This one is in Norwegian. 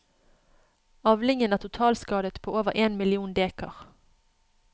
Avlingen er totalskadet på over én million dekar.